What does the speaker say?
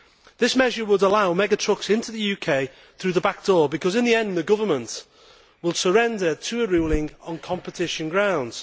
This measure would allow mega trucks into the UK through the back door because in the end the government will surrender to a ruling on competition grounds.